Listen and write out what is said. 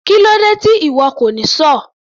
Kílódé tí ìwo kò ní sọ́ọ̀?